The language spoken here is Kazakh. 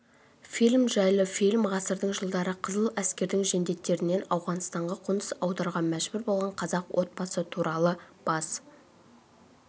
фильм жайлы фильм ғасырдың жылдары қызыл әскердің жендеттерінен ауғанстанға қоныс аударуға мәжбүр болғанқазақ отбасы туралы бас